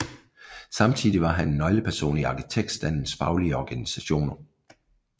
Samtidig var han en nøgleperson i arkitektstandens faglige organisationer